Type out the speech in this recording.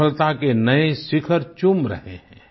सफलता के नए शिखर चूम रहे हैं